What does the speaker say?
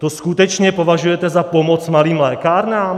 To skutečně považujete za pomoc malým lékárnám?